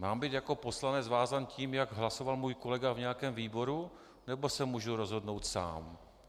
Mám být jako poslanec vázán tím, jak hlasoval můj kolega v nějakém výboru, nebo se můžu rozhodnout sám?